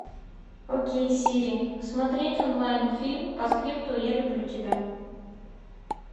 окей сири смотреть онлайн фильм постскриптум я люблю тебя